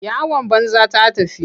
Yawan banza ta tafi.